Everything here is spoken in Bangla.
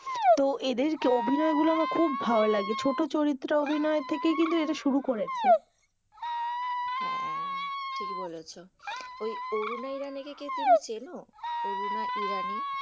তো এদেরকে, অভিনয় গুলো আমার খুব ভালো লাগে, ছোটো চরিত্র এর অভিনয় থেকেই কিন্তু এদের শুরু করেছে হ্যাঁ ঠিক বলেছো, ওই অরুণা ইরানি কে তুমি কি চেনো? অরুণা ইরানি,